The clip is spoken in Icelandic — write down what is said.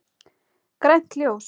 Grænt ljós.